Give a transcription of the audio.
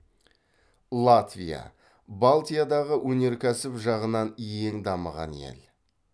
латвия балтиядағы өнеркәсіб жағынан ең дамыған ел